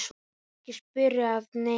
Ekki spyrja að neinu!